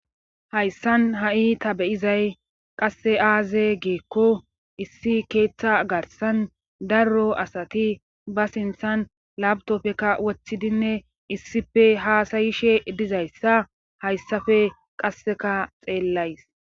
hayssan ha7i ta beyizay qasse aaze geekko issi keeththa garsan darro asati ba sinthan labtopfeka woththidinne issife haasayishe dizayssa hayssafe qasseka xeellays